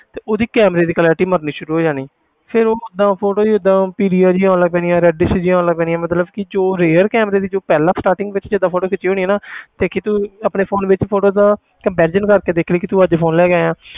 ਤੇ ਉਹਦੀ camera ਦੀ clarity ਮਰਨੀ ਸ਼ੁਰੂ ਹੋ ਜਾਣੀ ਫਿਰ ਉਹ ਓਦਾਂ photo ਜਿਹੀ ਏਦਾਂ ਪੀਲੀਆਂ ਜਿਹੀਆਂ ਆਉਣ ਲੱਗ ਪੈਣੀਆਂ reddish ਜਿਹੀਆਂ ਆਉਣ ਲੱਗ ਪੈਣੀਆਂ ਮਤਲਬ ਕਿ ਜੋ rare camera ਦੀ ਜੋ ਪਹਿਲਾਂ starting ਵਿੱਚ ਜਿੱਦਾਂ photo ਖਿੱਚੀ ਹੋਣੀ ਨਾ ਦੇਖੀ ਤੂੰ ਆਪਣੇ phone ਵਿੱਚ photo ਦਾ comparison ਕਰਕੇ ਦੇਖੀ ਕਿ ਵੀ ਤੂੰ ਅੱਜ phone ਲੈ ਕੇ ਆਇਆਂ